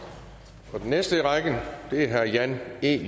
den næste i rækken er herre jan e